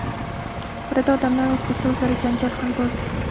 Orada odamlar o‘rtasida o‘zaro janjal ham bo‘ldi.